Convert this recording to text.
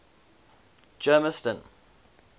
germiston